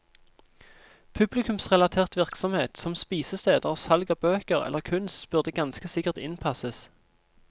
Publikumsrelatert virksomhet som spisesteder og salg av bøker eller kunst burde ganske sikkert innpasses.